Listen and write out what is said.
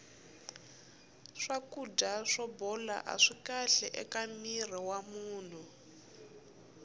swakudya swo bola aswi kahle eka mirhi wa munhu